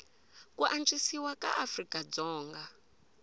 ku antswisiwa ka afrika dzonga